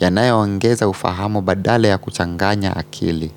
yanayo ongeza ufahamu badala ya kuchanganya akili.